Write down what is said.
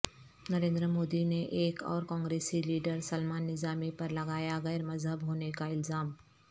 نریندرمودی نے ایک اور کانگریسی لیڈر سلمان نظامی پر لگایا غیر مہذب ہونے کا الزام